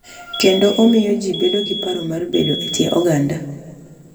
Kendo omiyo ji bedo gi paro mar bedo e kind oganda.